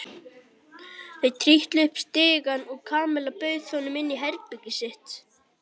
Þau trítluðu upp stigann og Kamilla bauð honum inn í herbergið sitt.